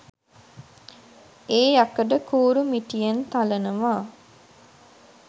ඒ යකඩ කූරු මිටියෙන් තලනවා